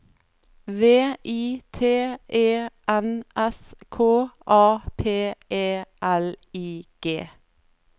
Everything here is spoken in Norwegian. V I T E N S K A P E L I G